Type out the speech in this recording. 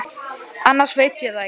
Annars veit ég það ekki.